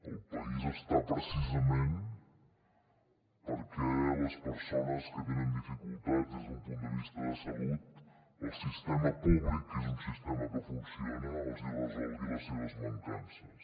el país està precisament perquè les persones que tenen dificultats des d’un punt de vista de salut el sistema públic que és un sistema que funciona els resolgui les seves mancances